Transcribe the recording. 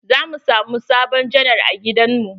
Za mu samu sabon janar a gidan mu.